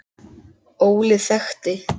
Óli þekkti.